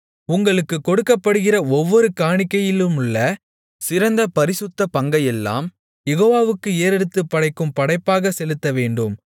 உங்களுக்குக் கொடுக்கப்படுகிற ஒவ்வொரு காணிக்கையிலுமுள்ள சிறந்த பரிசுத்த பங்கையெல்லாம் யெகோவாவுக்கு ஏறெடுத்துப் படைக்கும் படைப்பாகச் செலுத்தவேண்டும்